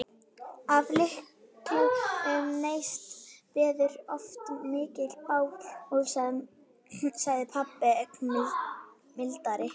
Af litlum neista verður oft mikið bál, sagði pabbi ögn mildari.